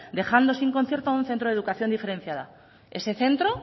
dejando sin concierto a un centro de educación diferenciada ese centro